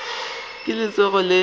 le ka se tsoge le